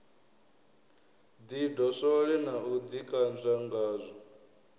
ḓidoswole na u ḓikanzwa ngazwo